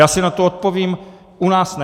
Já si na to odpovím: U nás ne.